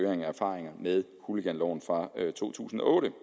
af erfaringer med hooliganloven fra to tusind og otte